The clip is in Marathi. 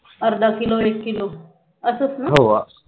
अर्धा किलो एक किलो असच ना हो